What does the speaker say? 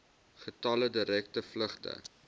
getalle direkte vlugte